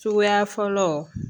Suguya fɔlɔ